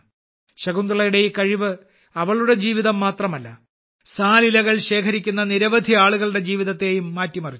ശകുന്തളയുടെ ഈ കഴിവ് അവളുടെ ജീവിതം മാത്രമല്ല സാൽ ഇലകൾ ശേഖരിക്കുന്ന നിരവധി ആളുകളുടെ ജീവിതത്തെയും മാറ്റിമറിച്ചു